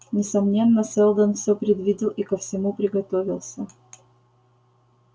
несомненно сэлдон всё предвидел и ко всему приготовился